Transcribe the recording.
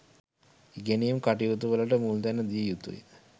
ඉගෙනීම් කටයුතු වලට මුල් තැන දිය යුතුය